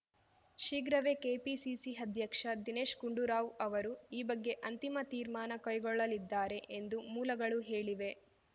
ಶೀಘ್ರವೆ KPCC ಅಧ್ಯಕ್ಷ ದಿನೇಶ್‌ ಗುಂಡೂರಾವ್‌ ಅವರು ಈ ಬಗ್ಗೆ ಅಂತಿಮ ತೀರ್ಮಾನ ಕೈಗೊಳ್ಳಲಿದ್ದಾರೆ ಎಂದು ಮೂಲಗಳು ಹೇಳಿವೆ